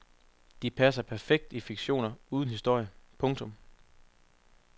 De passer perfekt i fiktioner uden historie. punktum